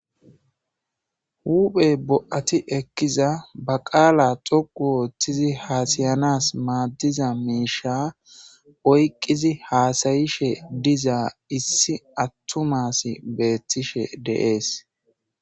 huphey bo7ati ekkiza ba qaala xoqu ooththizi haasayanas maaddiza miisha oyqqizi haasayishe diza issi attumas beethtishe deees